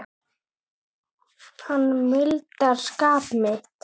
Hann mildar skap mitt.